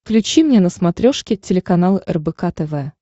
включи мне на смотрешке телеканал рбк тв